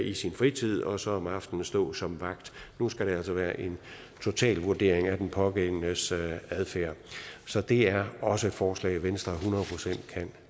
i sin fritid og så om aftenen stå som vagt nu skal det altså være en total vurdering af den pågældendes adfærd så det er også et forslag som venstre hundrede procent kan